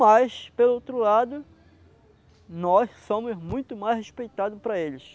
Mas, pelo outro lado, nós somos muito mais respeitados para eles.